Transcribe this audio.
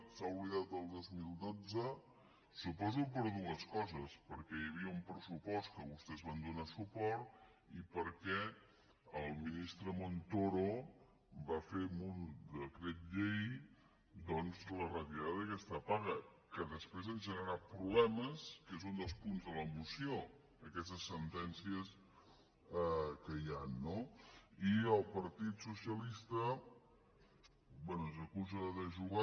s’ha oblidat del dos mil dotze suposo per dues coses perquè hi havia un pressupost que vostès hi van donar suport i perquè el ministre montoro va fer amb un decret llei doncs la retirada d’aquesta paga que després ha generat problemes que és un dels punts de la moció aquestes sentències que hi han no i el partit socialista bé ens acusa de jugar